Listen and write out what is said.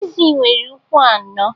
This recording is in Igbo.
Ezi nwere ukwu anọ